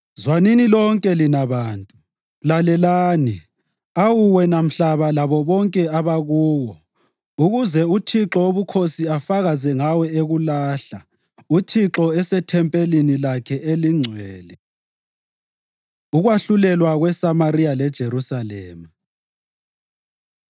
Zwanini lonke lina bantu, lalelani, awu wena mhlaba labo bonke abakuwo, ukuze uThixo Wobukhosi afakaze ngawe ekulahla, uThixo esethempelini lakhe elingcwele. Ukwahlulelwa KweSamariya LeJerusalema